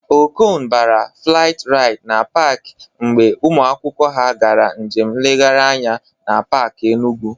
Okon bara flat raịd na pak mgbe ụmụ akwụkwọ ha gara njem nlegharị anya na pak Enugwu